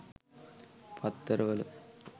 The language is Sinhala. පත්තර වල